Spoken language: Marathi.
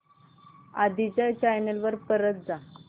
आधी च्या चॅनल वर परत जा